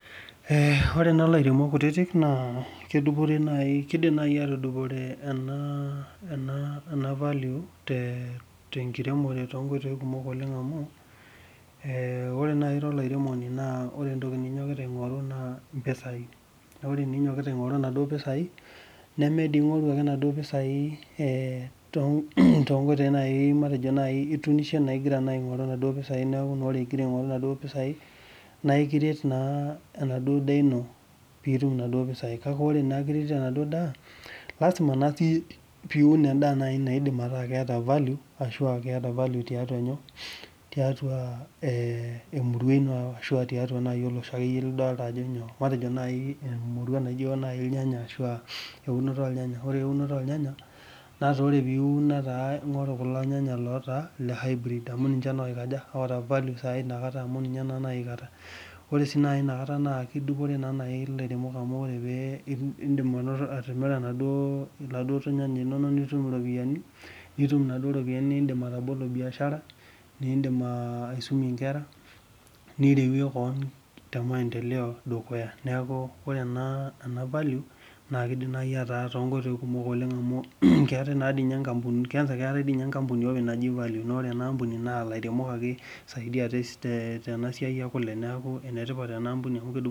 Oree naa ilairemok kutitik naa , kedupore naaji keidim naaji atudupore ena value te enkiremore to nkoitoyi kumok oleng amu , ore naaji ira olairemoni naa ore entoki ninyokita aingoru naa impisai naa ore inyokkita aing'oru inaduo pisai nemee doi in'oru ake inaduo pisai to nkoitoi naai matejo naai ituunishe naai ingira ake aingoru inaduo piasi neeku oree duo ingira aing'oru inaduo pisa naa ekiret naa enaduo daa ino ingira aingoru inaduo pisai ore naa kiretito enaduo daa lasima naa sii piun endaa naidim ataa keeta value ashuu aa keta value tiatua emurua inoo ashuu tiatua naaji olosho lidolita ajo nyoo matejo naaji emurua najio naaji ilnyanya eunoto olnyanya ore eunoto olnyanya naata ore piiun naa ingoru kulo nyanya loota ile hybrid amuu ninchee naa oikaja oata value ina kataa ore naaji sii inakataa naa kidupore naa ilairemok amu ore pee indim ainoto atimira iladuo nyanya linonok nitum iropiyiani niindim atobolo biashara niindim aisumie inkera ,nirewie keon temaendeleo dukuya neeku ore ena valeu keidim naaji ataa tonkoitoyi kumok oleng amu keetai na sininye inkampunini keetai dii ninye enkampuni openy naaji Value naa ore enaampuni naa ilairemok eisaidia tenasiai ekule neeku enetipat enaa ampuni.